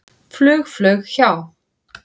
Fugl flaug hjá.